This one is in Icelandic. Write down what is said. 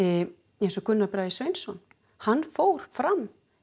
eins og Gunnar Bragi Sveinsson hann fór fram